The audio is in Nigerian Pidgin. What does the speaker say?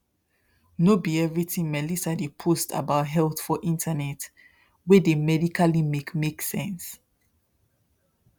no be everything melissa dey post about health for internet wey dey medically make make sense